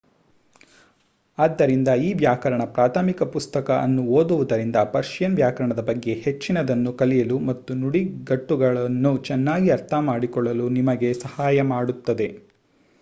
ಆದ್ದರಿಂದ ಈ ವ್ಯಾಕರಣ ಪ್ರಾಥಮಿಕ ಪುಸ್ತಕ ಅನ್ನು ಓದುವುದರಿಂದ ಪರ್ಷಿಯನ್ ವ್ಯಾಕರಣದ ಬಗ್ಗೆ ಹೆಚ್ಚಿನದನ್ನು ಕಲಿಯಲು ಮತ್ತು ನುಡಿಗಟ್ಟುಗಳನ್ನು ಚೆನ್ನಾಗಿ ಅರ್ಥಮಾಡಿಕೊಳ್ಳಲು ನಿಮಗೆ ಸಹಾಯ ಮಾಡುತ್ತದೆ